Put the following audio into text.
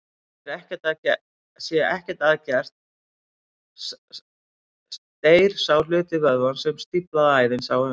Sé ekkert að gert deyr sá hluti vöðvans sem stíflaða æðin sá um.